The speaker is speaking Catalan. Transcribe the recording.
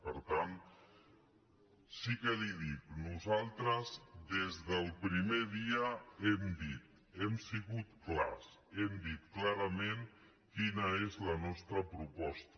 per tant sí que li ho dic nosaltres des del primer dia hem sigut clars hem dit clarament quina és la nostra proposta